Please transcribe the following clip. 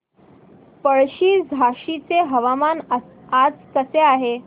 पळशी झाशीचे हवामान आज कसे आहे